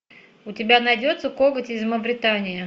у тебя найдется коготь из мавритании